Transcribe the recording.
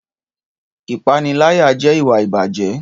Ìpániláyà jẹ́ ìwà ìbàjẹ́